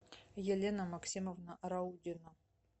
елена максимовна раудина